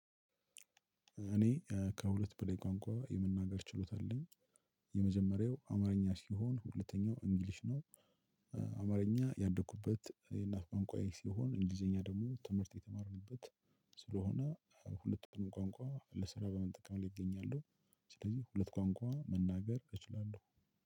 እኔ እ ከሁለት በላይ ቋንቋ የመናገር ችሎታ አለኝ። የመጀመሪያው አማርኛ ሲሆን ሁለተኛው እንግሊሽ ነው። እ አማርኛ ያደኩበት የእናት ቋንቋዬ ሲሆን እንግሊዘኛ ደግሞ ትምህርት የተማርንበት ስለሆነ ሁለቱንም ቋንቋ ለስራ በመጠቀም ላይ እገኛለሁ። ስለዚህ ሁለት ቋንቋ መናገር እችላለሁ